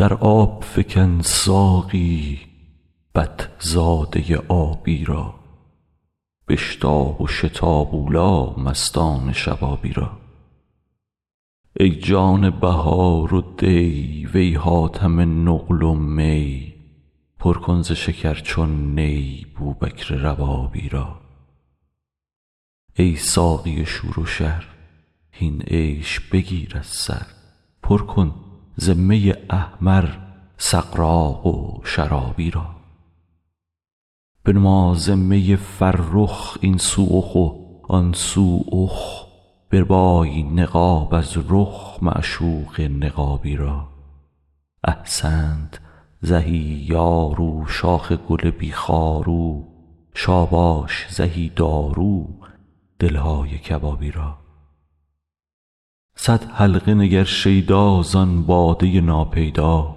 در آب فکن ساقی بط زاده آبی را بشتاب و شتاب اولی مستان شبابی را ای جان بهار و دی وی حاتم نقل و می پر کن ز شکر چون نی بوبکر ربابی را ای ساقی شور و شر هین عیش بگیر از سر پر کن ز می احمر سغراق و شرابی را بنما ز می فرخ این سو اخ و آن سو اخ بربای نقاب از رخ معشوق نقابی را احسنت زهی یار او شاخ گل بی خار او شاباش زهی دارو دل های کبابی را صد حلقه نگر شیدا زان باده ناپیدا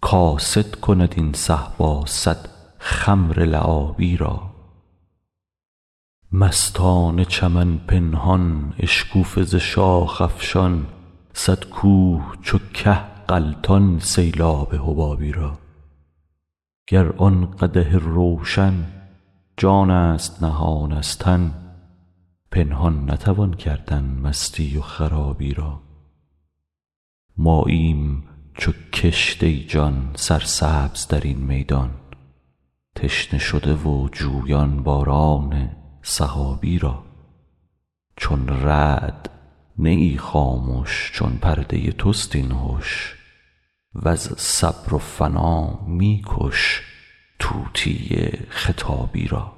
کاسد کند این صهبا صد خمر لعابی را مستان چمن پنهان اشکوفه ز شاخ افشان صد کوه چو که غلطان سیلاب حبابی را گر آن قدح روشن جانست نهان از تن پنهان نتوان کردن مستی و خرابی را ماییم چو کشت ای جان سرسبز در این میدان تشنه شده و جویان باران سحابی را چون رعد نه ای خامش چون پرده تست این هش وز صبر و فنا می کش طوطی خطابی را